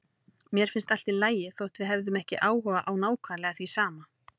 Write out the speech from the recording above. Mér fannst allt í lagi þótt við hefðum ekki áhuga á nákvæmlega því sama.